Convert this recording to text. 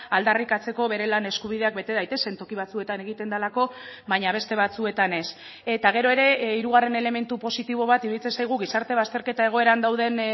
aldarrikatzeko bere lan eskubideak bete daitezen toki batzuetan egiten delako baina beste batzuetan ez eta gero ere hirugarren elementu positibo bat iruditzen zaigu gizarte bazterketa egoeran dauden